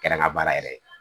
Kɛra ŋa baara yɛrɛ ye